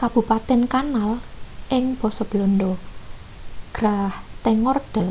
kabupaten kanal basa belanda: grachtengordel